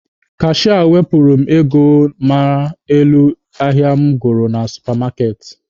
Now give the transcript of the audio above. Kashịa wepụrụ m ego mara n'elu ahịa mụ goro na supa maaketị.